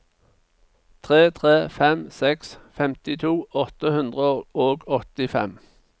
tre tre fem seks femtito åtte hundre og åttifem